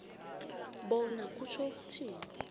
bona kutjho ukuthini